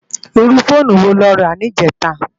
Irú fónú wó ló rá nijètá?